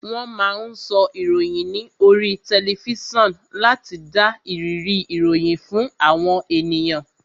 Wón máa ń sọ ìròyìn ní oríi tẹlifísàn láti dá ìrírí ìròyìn fún àwọn ènìyàn